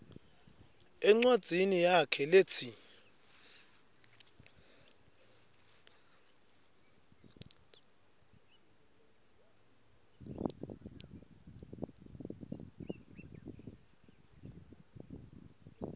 encwadzini yakhe letsi